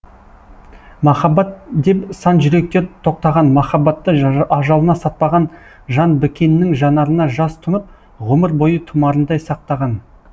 махаббат деп сан жүректер тоқтаған махаббаты ажалына сатпаған жан бікеннің жанарына жас тұнып ғұмыр бойы тұмарындай сақтаған